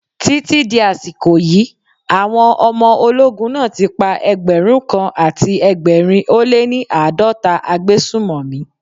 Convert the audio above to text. Títí di àsìkò yí, àwọn ọmọ ológun náà ti pa ẹgbẹ̀rún kan àti ẹgbẹ̀rin ó lé ní àádọ́ta agbésùmọ̀mí.